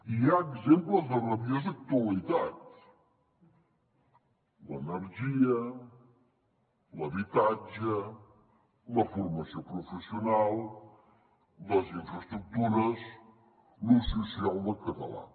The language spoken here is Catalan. hi ha exemples de rabiosa actualitat l’energia l’habitatge la formació professional les infraestructures l’ús social del català